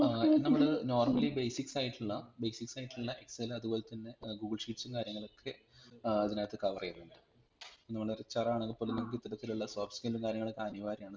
ഏർ നമ്മൾ normally basics ആയിട്ടുള്ള basics ആയിട്ടുള്ള excel അതുപോലെതന്നെ google sheet ഉം കാര്യങ്ങളൊക്കെ ഏർ ഇതിനകത്തു cover ചെയ്യുന്നുണ്ട് മ്‌ചം നമ്മളോരു HR ആണെങ്കിപോലും ഇത്തരത്തിലുള്ള soft skill ഉം കാര്യങ്ങളൊക്കെ അനിവാര്യം ആണ്